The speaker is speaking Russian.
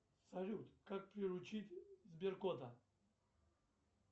салют как приручить сберкота